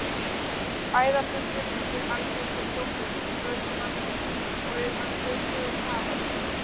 Æðarfuglinn er mjög algengur sjófugl við strendur landsins og er hann duglegur kafari.